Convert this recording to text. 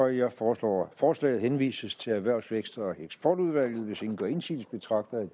jeg foreslår at forslaget henvises til erhvervs vækst og eksportudvalget hvis ingen gør indsigelse betragter jeg